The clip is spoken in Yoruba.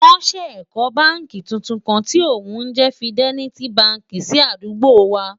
wón sé kò bánkì túntùn kàn tí òun jé fideliti bánkì sí àdúgbò wà